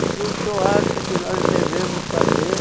O que o senhor acha que nós devemos fazer?